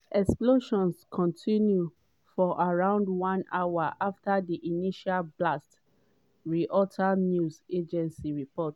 explosions continued for around one hour after di initial blasts reuters news agency report.